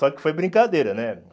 Só que foi brincadeira, né?